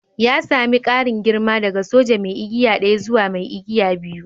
Ya sani ƙarin girma daga soja mai igiya daya zuwa mai igiya biyu.